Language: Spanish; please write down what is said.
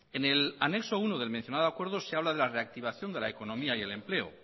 en el anexo uno del mencionado acuerdo se habla de la reactivación de la economía y el empleo